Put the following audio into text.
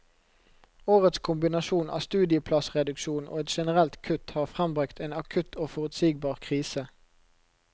Årets kombinasjon av studieplassreduksjon og et generelt kutt har frembragt en akutt og forutsigbar krise.